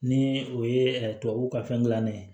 Ni o ye tubabuw ka fɛn gilan ne ye